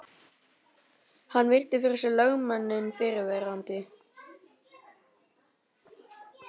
Hann virti fyrir sér lögmanninn fyrrverandi.